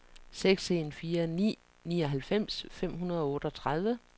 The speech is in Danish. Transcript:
seks en fire ni nioghalvfems fem hundrede og otteogtredive